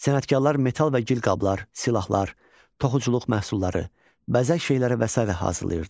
Sənətkarlar metal və gil qablar, silahlar, toxuculuq məhsulları, bəzək şeyləri və sair hazırlayırdılar.